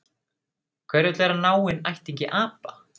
Hver vill vera náinn ættingi apa?